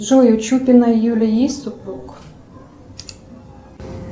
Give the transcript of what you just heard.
джой у чупиной юлии есть супруг